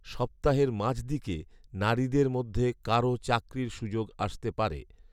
সপ্তাহের মাঝদিকে নারীদের মধ্যে কারও চাকরির সুযোগ আসতে পারে